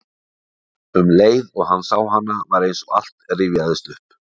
Um leið og hann sá hana var eins og allt rifjaðist upp.